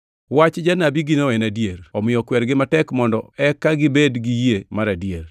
Wach janabigino en adier. Omiyo kwergi matek mondo eka gibed gi yie mar adier,